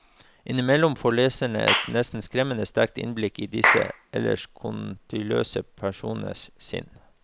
Innimellom får leseren et nesten skremmende sterkt innblikk i disse ellers konturløse personenes sinn.